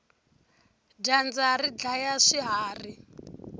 dyandza ri dlaya swiharhi